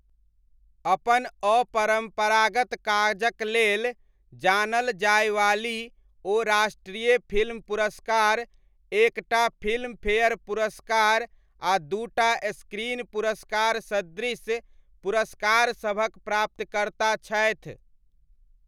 अपन अपरम्परागत काजक लेल जानल जायवाली, ओ राष्ट्रीय फिल्म पुरस्कार, एक टा फिल्मफेयर पुरस्कार आ दू टा स्क्रीन पुरस्कार सदृश पुरस्कार सभक प्राप्तकर्ता छथि।